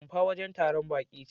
Rumfa wajen taron baƙi ce.